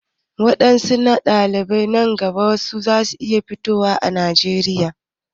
Waɗanne dalilai na mutuwa nan gaba za su iya fitowa a Najeriya?